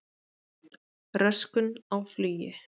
Röskun á flugi